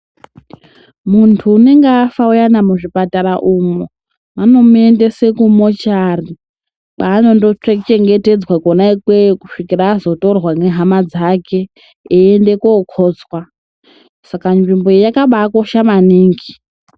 Muntu unenge afa uyana muzvipatara umwo, vanomuendese kumochari, kwanondochengetedzwà kwona ikweyo kusvikira azotorwa nehama dzake eiende kokotswa, Saka nzvimbo iyi yakabakosha maningi.